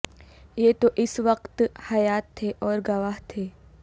یہ تو اس وقت حیات تھے اور گواہ تھے